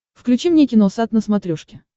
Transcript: включи мне киносат на смотрешке